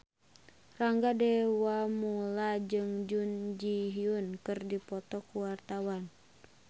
Rangga Dewamoela jeung Jun Ji Hyun keur dipoto ku wartawan